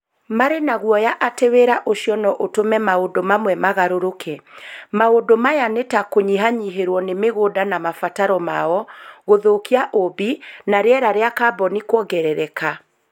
Marĩ na guoya atĩ wĩra ũcio no ũtũme maũndũ mamwe magarũrũka. Maũndũ maya nĩ ta andũ kũnyihanyihĩrũo nĩ mĩgũnda na mabataro mao, gũthũkia ũũmbi, na rĩera rĩa kaboni kũongerereke.